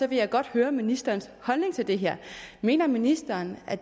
vil jeg godt høre ministerens holdning til det her mener ministeren at